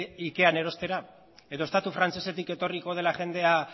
ikean erostera edo estatu frantsesetik etorriko dela jendea